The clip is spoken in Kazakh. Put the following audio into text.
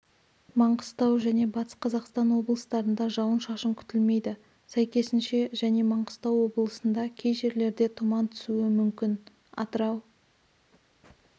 маңғыстау және батыс қазақстан облыстарында жауын-шашын күтілмейді сәйкесінше және маңғыстау облысында кей жерлерде тұман түсуі мүмкін атырау